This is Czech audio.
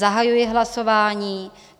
Zahajuji hlasování.